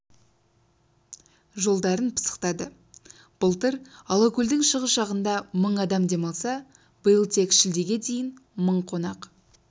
жолдарын пысықтады былтыр алакөлдің шығыс жағында мың адам демалса биыл тек шілдеге дейін мың қонақ